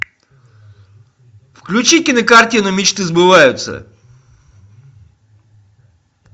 включи кинокартину мечты сбываются